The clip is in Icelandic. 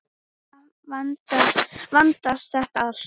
Svo vandist þetta allt.